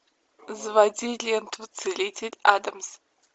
заводи ленту целитель адамс